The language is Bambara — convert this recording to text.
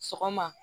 Sɔgɔma